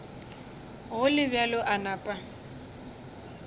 go le bjalo a napa